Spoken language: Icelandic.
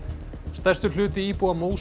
stærstur hluti íbúa